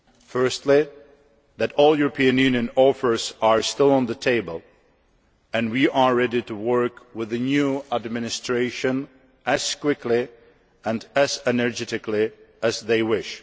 Firstly, that all European Union offers' are still on the table, and we are ready to work with the new administration as quickly and as energetically as they wish.